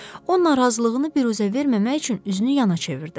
O narazılığını biruzə verməmək üçün üzünü yana çevirdi.